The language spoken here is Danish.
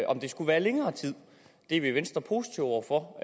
om det skulle være længere tid det er vi i venstre positive over for